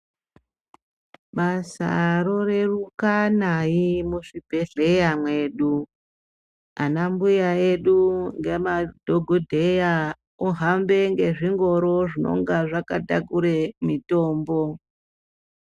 Basa roreruka naye muzvibhehleya mwedu. Anambuya edu ngemadhokodheya ohambe ngezvingoro zvinonga zvakatakure mitombo.